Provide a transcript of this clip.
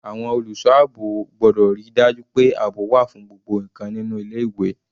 Àwọn olùṣọ́ àbò gbọ́dọ̀ ríi dájú pé àbò wà fún gbogbo ǹkan nínú ilé ìwé.